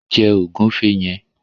Jẹ ògúnfe yẹn!